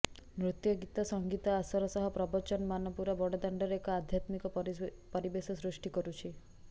ନୃତ୍ୟ ଗୀତ ସଙ୍ଗୀତ ଆସର ସହ ପ୍ରବଚନ ମାନ ପୁରା ବଡଦାଣ୍ଡରେ ଏକ ଆଧ୍ୟାତ୍ମିକ ପରିବେଶ ସୃଷ୍ଟି କରୁଛି